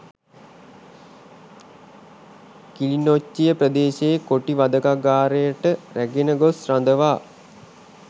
කිලිනොච්චිය ප්‍රදේශයේ කොටි වධකාගාරයට රැගෙන ගොස් රඳවා